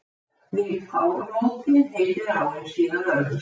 Við ármótin heitir áin síðan Ölfusá.